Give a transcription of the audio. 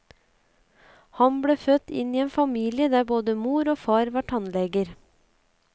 Han ble født inn i en familie der både mor og far var tannleger.